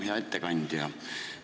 Hea ettekandja!